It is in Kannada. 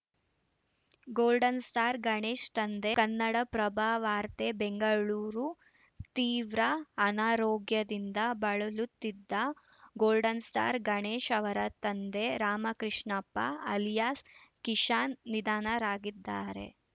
ಗೋಲ್ಡನ್‌ ಸ್ಟಾರ್‌ ಗಣೇಶ್‌ ತಂದೆ ಕನ್ನಡಪ್ರಭ ವಾರ್ತೆ ಬೆಂಗಳೂರು ತೀವ್ರ ಅನಾರೋಗ್ಯದಿಂದ ಬಳಲುತ್ತಿದ್ದ ಗೋಲ್ಡನ್‌ ಸ್ಟಾರ್‌ ಗಣೇಶ್‌ ಅವರ ತಂದೆ ರಾಮಕೃಷ್ಣಪ್ಪ ಅಲಿಯಾಸ್‌ ಕಿಶಾನ್‌ ನಿಧನರಾಗಿದ್ದಾರೆ